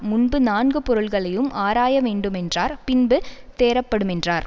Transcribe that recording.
முன்பு நான்கு பொருள்களையும் ஆராயவேண்டுமென்றார் பின்பு தேறப்படுமென்றார்